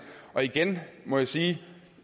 igen må jeg sige at